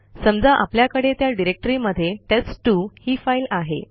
समजा आपल्याकडे त्या डिरेक्टरीमध्ये टेस्ट2 ही फाईल आहे